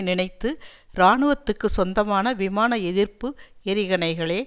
நினைத்து இராணுவத்துக்கு சொந்தமான விமான எதிர்ப்பு எறிகணைகளே